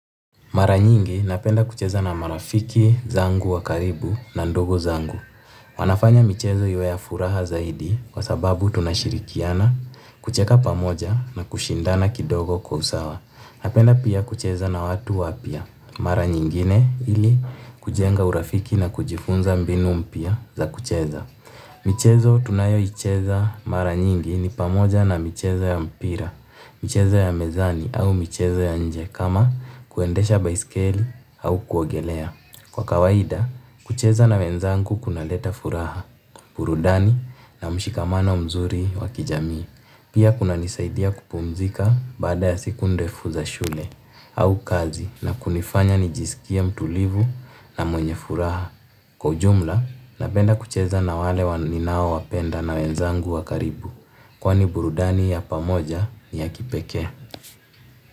Maranyingi napenda kucheza na marafiki zangu wakaribu na ndugu zangu. Wanafanya michezo iwe ya furaha zaidi kwa sababu tunashirikiana, kucheka pamoja na kushindana kidogo kwa usawa. Napenda pia kucheza na watu wapia. Maranyingine ili kujenga urafiki na kujifunza mbinu mpya za kucheza. Michezo tunayoicheza maranyingi ni pamoja na michezo ya mpira, michezo ya mezani au michezo ya nje. Kama kuendesha baiskeli au kuogelea kwa kawaida, kucheza na wenzangu kuna leta furaha. Burudani na mshikamano mzuri wakijami. Pia kuna nisaidia kupumzika baada ya siku ndefu za shule au kazi na kunifanya nijisikie mtulivu na mwenye furaha. Kwa ujumla, napenda kucheza na wale ninao wapenda na wenzangu wakaribu. Kwani burudani ya pamoja ni ya kipekee.